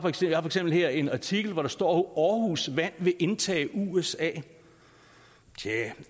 eksempel her en artikel hvor der står at aarhus vand vil indtage usa